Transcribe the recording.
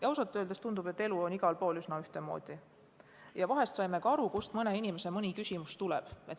Ausalt öeldes tundub, et elu on kõikjal üsna ühtemoodi, ja vahest saime aru sellestki, kust mõne inimese küsimus tuleb.